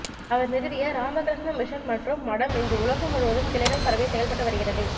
அவர் நிறுவிய இராமகிருஷ்ண மிஷன் மற்றும் மடம் இன்று உலகம் முழுவதும் கிளைகள் பரவி செயல்பட்டு வருகிறது